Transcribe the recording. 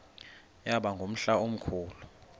yaba ngumhla omkhulu